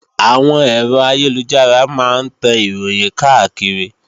Àwọn ẹ̀rọ ayélujára máa ń tan Ìròhìn káàkiri